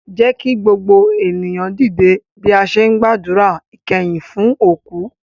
Jẹ́ kí gbogbo ènìyàn dìde bí a ṣe ń gbàdúrà ìkẹyìn fún òkú